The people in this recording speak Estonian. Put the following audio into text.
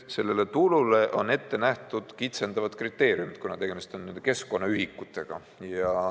Sellele tulule on ette nähtud kitsendavad kriteeriumid, kuna tegemist on keskkonnaühikutega.